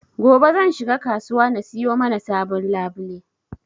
Gobe zan shiga kasuwa na siyo mana sabon labule